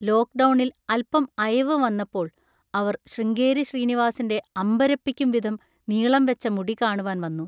ലോക്‌ഡൗണിൽ അല്പം അയവ് വന്നപ്പോൾ അവർ ശൃംഗേരി ശ്രീനിവാസിൻ്റെ അമ്പരപ്പിക്കുംവിധം നീളംവെച്ച മുടി കാണുവാൻ വന്നു.